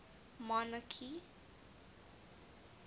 monarchy